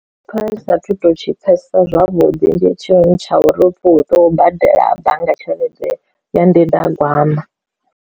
Ndi pfha ndi sathu to tshi pfesesa zwavhuḓi ndi tshintsha uri hupfi u tou badela bannga tshelede ya ndindagwama.